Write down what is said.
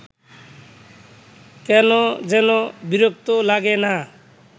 কেন যেন বিরক্ত লাগে না